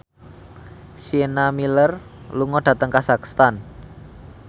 Sienna Miller lunga dhateng kazakhstan